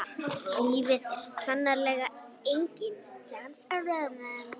Lífið er sannarlega enginn dans á rósum.